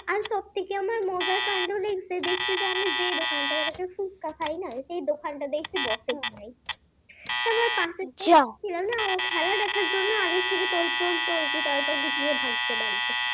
আমি যে দোকান থেকে ফুচকা খাই না সেই দোকানটা দেখছি বসে নাই, পাশের দোকানটা ছিল না ও খেলা দেখার জন্য আগের থেকে তোর জোর চলছে তারপর দেখি ভাগছে বাড়িতে